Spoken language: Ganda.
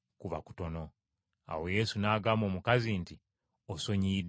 Awo Yesu n’agamba omukazi nti, “Osonyiyiddwa ebibi byo.”